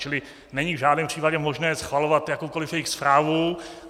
Čili není v žádném případě možné schvalovat jakoukoliv jejich zprávu.